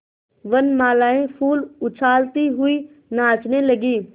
वनबालाएँ फूल उछालती हुई नाचने लगी